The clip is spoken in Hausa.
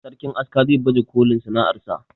sarkin aska za baje kolin sana'ar sa